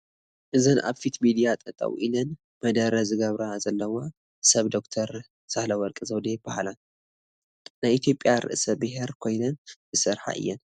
እዘን ኣብ ፊት ሚድያታት ጠጠው ኢለን መደረ ዝገብራ ዘለዋ ሰብ ዶክተር ሳህለወርቅ ዘውዴ ይበሃላ፡፡ ናይ ኢትዮጵያ ርእሰ ብሄር ኮይነን ዝሰርሓ እየን፡፡